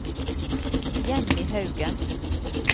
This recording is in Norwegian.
Jenny Haugen